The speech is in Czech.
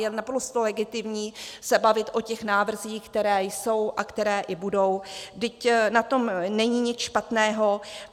Je naprosto legitimní se bavit o těch návrzích, které jsou a které i budou, vždyť na tom není nic špatného.